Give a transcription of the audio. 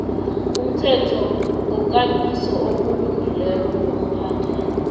umthethokambiso wokulungileko nokuphathwa